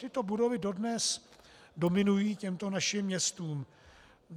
Tyto budovy dodnes dominují těmto našim městům.